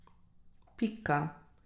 Pika.